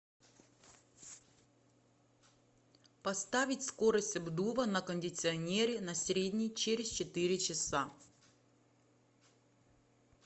поставить скорость обдува на кондиционере на средний через четыре часа